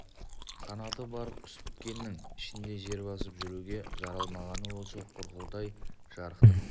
қанаты бар құс біткеннің ішінде жер басып жүруге жаралмағаны осы құрқылтай жарықтық